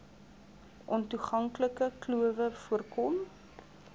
ontoeganklike klowe voorkom